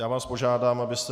Já vás požádám, abyste...